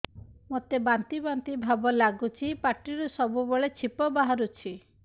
ମୋତେ ବାନ୍ତି ବାନ୍ତି ଭାବ ଲାଗୁଚି ପାଟିରୁ ସବୁ ବେଳେ ଛିପ ବାହାରୁଛି